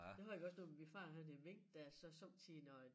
Det har jeg også jo når men min far han havde mink der så somme tider når